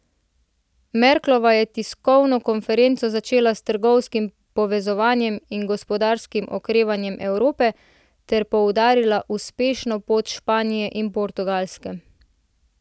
Merklova je tiskovno konferenco začela s trgovinskim povezovanjem in gospodarskim okrevanjem Evrope ter poudarila uspešno pot Španije in Portugalske.